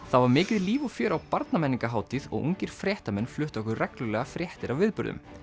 það var mikið líf og fjör á Barnamenningarhátíð og ungir fréttamenn fluttu okkur reglulega fréttir af viðburðum